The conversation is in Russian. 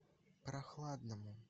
прохладному